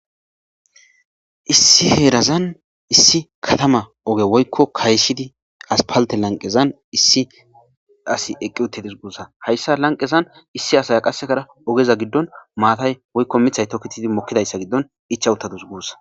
issi heerazan issi katama oge woykko kayshidi aspalte lanqezan issi asi eqqi uttedis guussa hayssa lanqezan issi asaya qasekara ogeza giddon maatay woykko mithay toketidi mokkidayssa giddon icha uttadus guussa